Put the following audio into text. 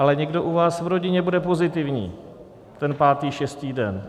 Ale někdo u vás v rodině bude pozitivní ten pátý, šestý den.